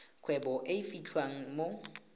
kgwebo e e fitlhelwang mo